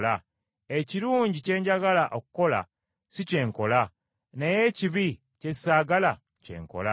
Ekirungi kye njagala okukola si kye nkola, naye ekibi kye saagala kye nkola.